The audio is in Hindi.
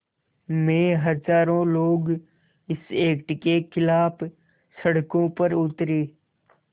में हज़ारों लोग इस एक्ट के ख़िलाफ़ सड़कों पर उतरे